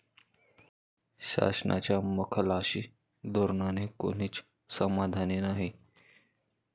शासनाच्या मखलाशी धोरणाने कोणीच समाधानी नाही.